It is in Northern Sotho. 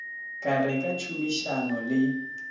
ka re ka tšhomišano le